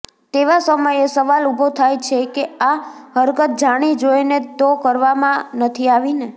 તેવા સમયે સવાલ ઉભો થાય છે કે આ હરકત જાણી જોઈને તો કરવામાં નથી આવીને